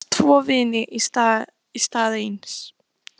Nú hefurðu eignast tvo vini í stað eins.